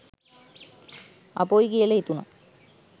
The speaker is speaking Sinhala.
අපොයි කියලා හිතුනා.